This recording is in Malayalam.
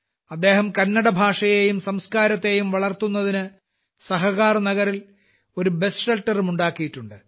അദ്ദേഹം കന്നട ഭാഷയെയും സംസ്കാരത്തെയും വളർത്തുന്നതിന് സഹകരാർ നഗറിൽ ഒരു ബസ് ഷെൽട്ടർ ഉം ഉണ്ടാക്കിയിട്ടുണ്ട്